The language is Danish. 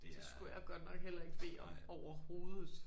Det skulle jeg godt nok heller ikke bede om overhovedet